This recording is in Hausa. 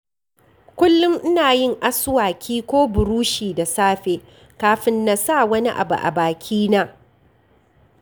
Kullum ina yin aswaki ko burushi da safe kafin na sa wani abu a bakina.